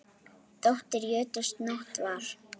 Dóttir jötuns Nótt var.